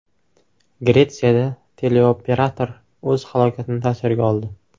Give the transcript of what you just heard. Gretsiyada teleoperator o‘z halokatini tasvirga oldi.